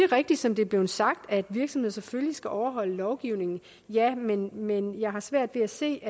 rigtigt som det er blevet sagt at virksomheder selvfølgelig skal overholde lovgivningen ja men men jeg har svært ved at se